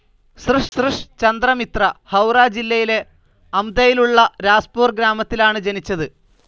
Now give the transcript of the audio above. സൃഷ് ചന്ദ്ര മിത്ര, ഹൌറ ജില്ലയിലെ അമ്തയിലുള്ള രാസ്പൂർ ഗ്രാമത്തിലാണ് ജനിച്ചത്.